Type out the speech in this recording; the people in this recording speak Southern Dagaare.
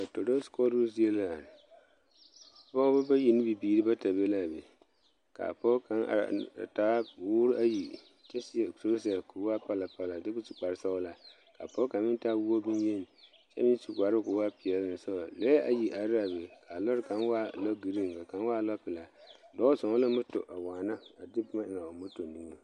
Toroose koɔroo zie la yaa. Pɔgeba bayi ne bibiiri bata be la a be, ka a pɔge kaŋa are a taa boore ayi kyɛ seɛ torɔzɛ ka o waa palapala lɛ kyɛ ka o su kparesɔglaa, ka a pɔge kaŋa meŋ taa woɔ bon-yeni kyɛ meŋ su kparoo ka o wa peɛle ŋa saŋa. Lɔɛ ayi are la a be ka a lɔre kaŋa waa lɔgiriiŋ ka a kaŋ waa lɔpelaa. Dɔɔ zɔŋ la moto a waana a de boma eŋ a o moto niŋeŋ.